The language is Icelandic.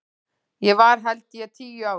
Ég var held ég tíu ára.